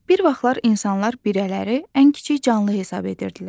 Bir vaxtlar insanlar birələri ən kiçik canlı hesab edirdilər.